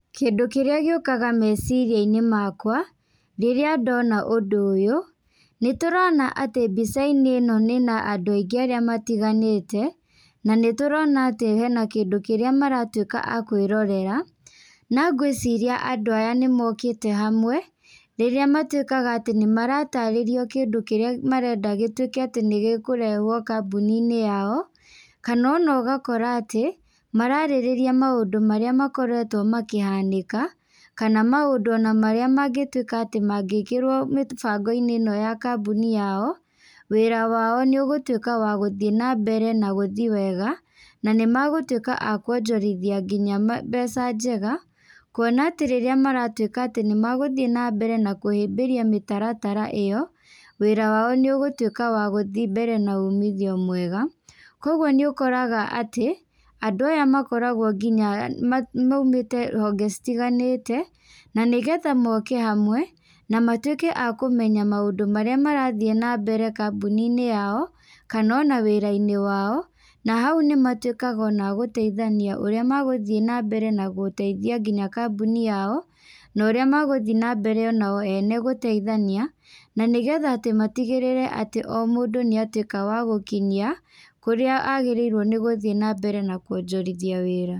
Kĩndũ kĩrĩa gĩũkaga meciria-inĩ makwa, rĩrĩa ndona ũndũ ũyũ, nĩ tũrona atĩ mbica-inĩ ĩno ĩna andũ aingĩ arĩa matiganĩte, na nĩ tũrona atĩ hena kĩndũ kĩrĩa maratuĩka a kwĩrorera, na ngwĩciria andũ aya nĩ mokĩte hamwe, rĩrĩa matuĩkaga atĩ nĩ maratarĩrio kĩndũ kĩrĩa marenda gĩtuĩke atĩ nĩ gĩkũrehwo kambuni-inĩ yao, kana ona ũgakora atĩ, mararĩrĩria maũndũ marĩa makoretwo makĩhanĩka, kana maũndũ ona marĩa mangĩtuĩka atĩ mangĩkĩrwo mĩbango-inĩ ĩno ya kambuni yao, wĩra wao nĩũgũtuĩka wa gũthiĩ na mbere nagũthi wega, na nĩ megũtuĩka a kwonjorithia nginya mbeca njega, kuona atĩ rĩrĩa maratuĩka atĩ nĩ megũthiĩ na mbere na kũhĩmbĩria mĩtaratara ĩyo, wĩra wao nĩũgũtuĩka wa gũthiĩ mbere na ũmithio mwega, koguo nĩ ũkoraga atĩ, andũ aya makoragwo nginya maimĩte honge citiganĩte, na nĩgetha moke hamwe, na matuĩke akũmenya maũndũ marĩa marathiĩ nambere kambuni-inĩ yao, kana ona wĩra-inĩ wao, na hau ona nĩ matuĩkaga ona agũteithania ũrĩa magũthiĩ na mbere na gũteithia nginya kambuni yao, no rĩa megũthiĩ na mbere onao ene gũteithania, na nĩgetha atĩ matigĩrĩre atĩ o mũndũ nĩ atuĩka wa gũkinyia, kũrĩa agĩrĩirwo nĩ gũthiĩ na mbere na kwonjorithia wĩra.